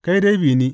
Kai dai bi ni.